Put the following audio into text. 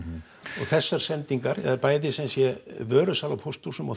og þessar sendingar eða sumsé vörusala á pósthúsum og